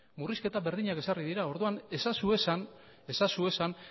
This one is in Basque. murrizketa berdinak ezarri dira orduan ez ezazu esan ez ezazu esan